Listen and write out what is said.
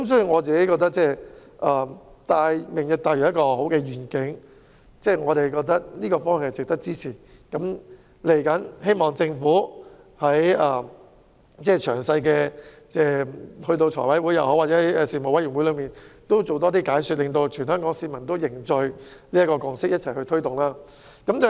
我認為"明日大嶼"是很好的願景，值得支持，所以希望政府能夠在日後的財務委員會或相關事務委員會的會議上多作解說，讓全港市民凝聚填海的共識，一起推動"明日大嶼"。